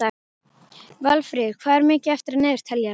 Valfríður, hvað er mikið eftir af niðurteljaranum?